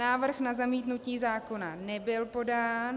Návrh na zamítnutí zákona nebyl podán.